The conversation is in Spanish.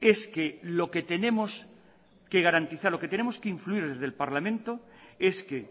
es que lo que tenemos que garantizar lo que tenemos que influir desde el parlamento es que